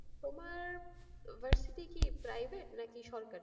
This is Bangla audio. তোমার varsity কি private নাকি সরকারি?